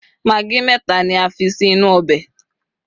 magi meta ni a fi sí inú ọbè